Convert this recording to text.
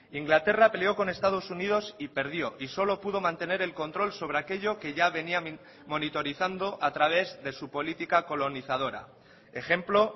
inglaterra peleó con estados unidos y perdió y solo pudo mantener el control sobre aquello que ya venía monitorizando a través de su política colonizadora ejemplo